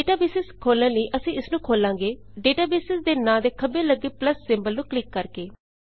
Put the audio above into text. database ਵੇਖਣ ਲਈ ਅਸੀਂ ਇਸ ਨੂੰ ਖੋਲਾਂਗੇ ਡੇਟਾਬੇਸ ਦੇ ਨਾਂ ਦੇ ਖੱਬੇ ਲੱਗੇ ਪਲੱਸ ਸਿੰਬਲ ਤੇ ਕਲਿੱਕ ਕਰ ਕੇ